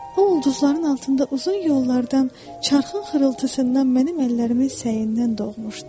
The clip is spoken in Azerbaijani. O ulduzların altında uzun yollardan, çarxın xırıltısından, mənim əllərimin səyindən doğmuşdu.